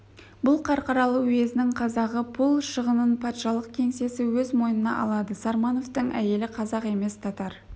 бұл қарқаралы уезінің қазағы пұл шығынын патшалық кеңсесі өз мойнына алады сармановтың әйелі қазақ емес татар